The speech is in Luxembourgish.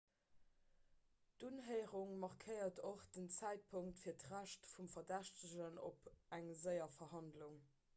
d'unhéierung markéiert och den zäitpunkt fir d'recht vum verdächtegen op eng séier verhandlung